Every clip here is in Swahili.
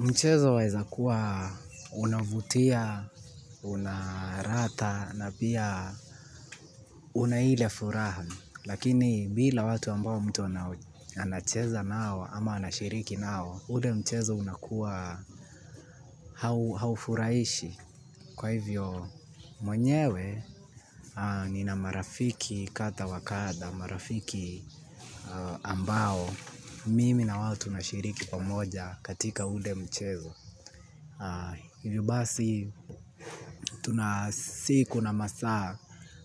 Mchezo waezakuwa unavutia, una ratha na pia una ile furaha. Lakini bila watu ambao mtu anacheza nao ama anashiriki nao, ule mchezo unakuwa haufurahishi. Kwa hivyo mwenyewe nina marafiki kadha wa kadha marafiki ambao mimi na wao tunashiriki pamoja, katika ule mchezo. Hivyo basi tuna siku na masaa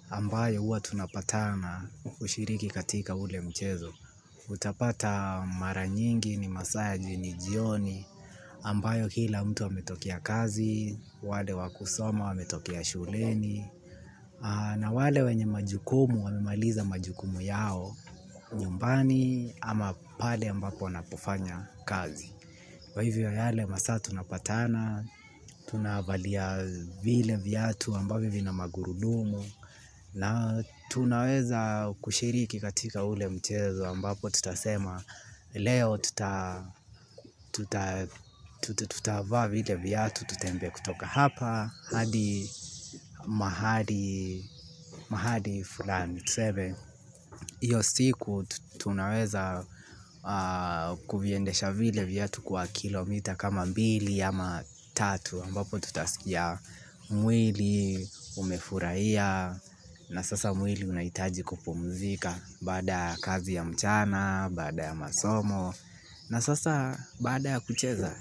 ambayo huwa tunapatana kushiriki katika ule mchezo utapata mara nyingi ni masaa ya jionijioni ambayo kila mtu ametokea kazi. Wale wa kusoma wametokea shuleni na wale wenye majukumu wamemaliza majukumu yao nyumbani ama pale ambapo wanapofanya kazi kwa hivyo yale masaa tunapatana, tunavalia vile viatu ambavyo vina magurudumu na tunaweza kushiriki katika ule mchezo ambapo tutasema leo tutavaa vile viatu tutembee kutoka hapa hadi mahali fulani tuseme hiyo siku tunaweza kuviendesha vile viatu kwa kilomita kama mbili ama tatu ambapo tutaskia mwili umefurahia na sasa mwili unahitaji kupumzika. Baada ya kazi ya mchana, baada ya masomo na sasa baada ya kucheza.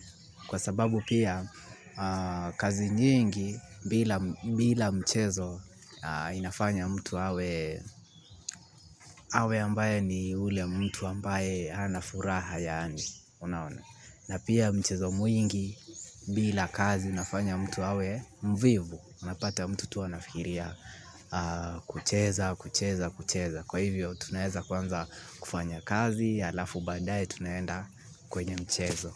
Kwa sababu pia kazi nyingi bila mchezo inafanya mtu awe awe ambaye ni yule mtu ambaye hana furaha yaani unaona na pia mchezo mwingi bila kazi inafanya mtu awe mvivu. Unapata mtu tu anafikiria kucheza kucheza kucheza. Kwa hivyo tunaeza kwanza kufanya kazi alafu baadae tunaenda kwenye mchezo.